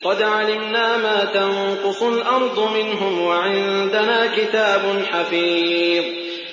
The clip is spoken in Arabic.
قَدْ عَلِمْنَا مَا تَنقُصُ الْأَرْضُ مِنْهُمْ ۖ وَعِندَنَا كِتَابٌ حَفِيظٌ